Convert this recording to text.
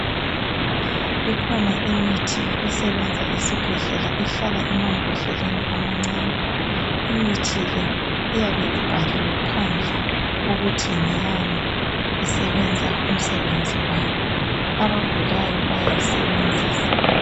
Ikhona imithi esebenza esibhedlela ehlala emambodleleni amancani imithi le iyabe ibhaliwe phandle ukuthi ngeyani isebenza umsebenzi bani abagulayo bayayisebenzisa